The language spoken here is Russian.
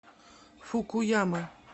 фукуяма